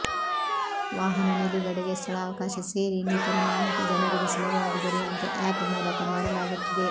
ವಾಹನ ನಿಲುಗಡೆಗೆ ಸ್ಥಳಾವಕಾಶ ಸೇರಿ ಇನ್ನಿತರ ಮಾಹಿತಿ ಜನರಿಗೆ ಸುಲಭವಾಗಿ ದೊರೆಯುವಂತೆ ಆಪ್ ಮೂಲಕ ಮಾಡಲಾಗುತ್ತಿದೆ